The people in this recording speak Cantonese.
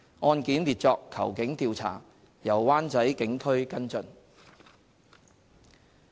案件列作"求警調查"，由灣仔警區跟進。